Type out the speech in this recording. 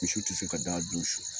Misi ti se ka da dun su